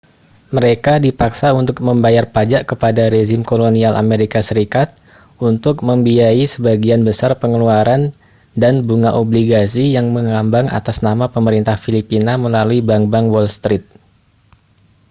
mereka dipaksa untuk membayar pajak kepada rezim kolonial as untuk membiayai sebagian besar pengeluaran dan bunga obligasi yang mengambang atas nama pemerintah filipina melalui bank-bank wall street